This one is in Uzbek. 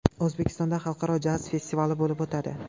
O‘zbekistonda Xalqaro jaz festivali bo‘lib o‘tadi.